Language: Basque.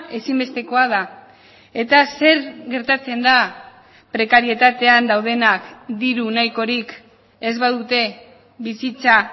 ezinbestekoa da eta zer gertatzen da prekarietatean daudenak diru nahikorik ez badute bizitza